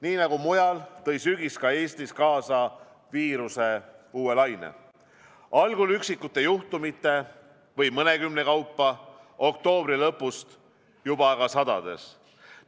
Nii nagu mujal, tõi sügis ka Eestis kaasa viiruse uue laine, algul üksikute juhtumitena või mõnekümne kaupa, oktoobri lõpust juba sadades.